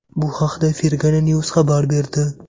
Bu haqda Fergana News xabar berdi .